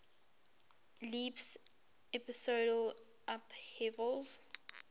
leaps episodal upheavals